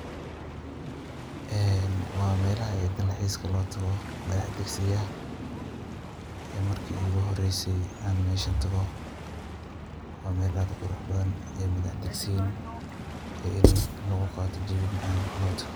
Waa melaha dal xiiska loo tago, madah degsiga. Markii iiguhoreysay aan mesha tago. Waa meel aad uquruxbadan, madah degsiin iyo in lugu qaato jawi macaan loo tago.